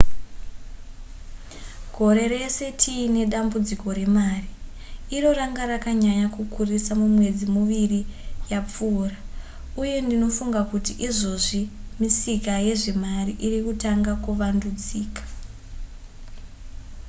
gore rese tiine dambudziko remari iro ranga rakanyanya kukurisisa mumwedzi miviri yapfuura uye ndinofunga kuti izvozvi misika yezvemari iri kutanga kuvandudzika